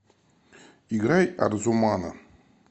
играй арзумана